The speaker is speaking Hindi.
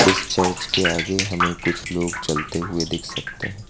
इस चर्च के आगे हमें कुछ लोग चलते हुए दिख सकते हैं।